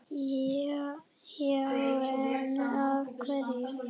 Já en. af hverju?